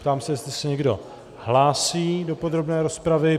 Ptám se, jestli se někdo hlásí do podrobné rozpravy.